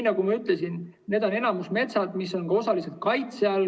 Nagu ma ütlesin, need on enamikus metsad, mis on osaliselt kaitse all.